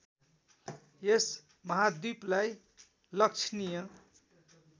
यस महाद्वीपलाई लक्षणीय